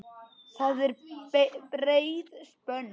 Það er breið spönn.